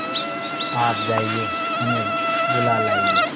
आप जाइए उन्हें बुला लाइए